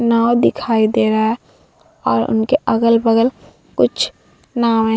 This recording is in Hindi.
नाव दिखाई दे रहा है और उनके अगल-बगल कुछ नाव है।